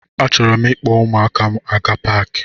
Achọrọ m ịkpọ ụmụaka m aga paki.